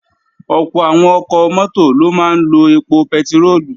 Ọ̀pọ̀ àwọn ọkọ̀ mọ́tò ló máa ń lo èpò pẹtiróòlù